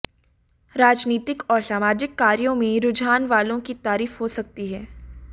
राजनीतिक और सामाजिक कार्यों में रुझान वालों की तारीफ हो सकती है